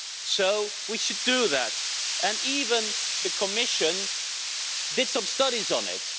So we should do that, and even the Commission did some studies on it.